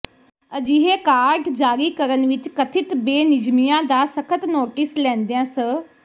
ਅਜਿਹੇ ਕਾਰਡ ਜਾਰੀ ਕਰਨ ਵਿੱਚ ਕਥਿਤ ਬੇਨਿਯਮੀਆਂ ਦਾ ਸਖ਼ਤ ਨੋਟਿਸ ਲੈਂਦਿਆਂ ਸ